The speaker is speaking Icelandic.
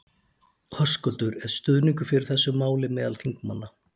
Höskuldur: Er stuðningur fyrir þessu máli meðal þingmanna?